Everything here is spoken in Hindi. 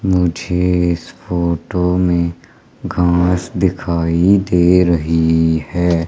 मुझे इस फोटो में घास दिखाई दे रही है।